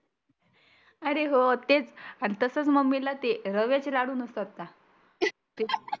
आरे हो तेच आन तसच मम्मीला ते रव्याचे लाडु नसतात का? ते